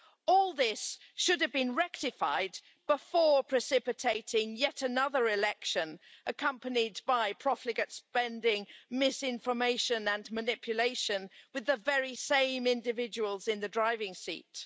All this should have been rectified before precipitating yet another election accompanied by profligate spending, misinformation and manipulation with the very same individuals in the driving seat.